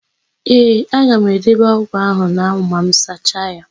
Ee, aga m edebe ọ́gụ̀ áhụ̀ n'anwụ ma m sacha ya.